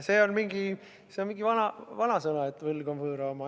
See on mingi vana vanasõna, et võlg on võõra oma.